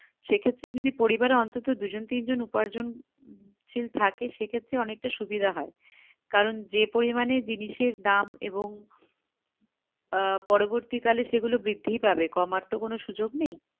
সেক্ষেত্রে যদি পরিবারে যদি অন্তত দুজন তিনজন উপার্জন শিল থাকে সেক্ষেত্রে অনেকটা সুবিধা হয় কারণ যে পরিমাণে জিনিসের দাম এবং আহ পরবর্তি কালে সেগুলো বৃদ্ধিই পাবে কমার তো কোনো সুযোগ নেই